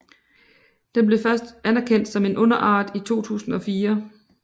Den blev først anerkendt som en underart i 2004